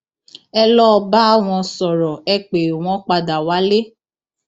ẹ lọọ bá wọn sọrọ ẹ pé wọn padà wálé